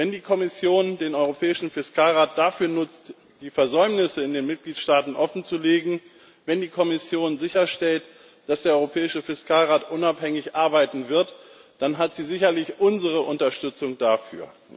Wenn die Kommission den europäischen Fiskalrat dafür nutzt, die Versäumnisse in den Mitgliedstaaten offenzulegen, wenn die Kommission sicherstellt, dass der europäische Fiskalrat unabhängig arbeiten wird, dann hat sie sicherlich unsere Unterstützung dafür.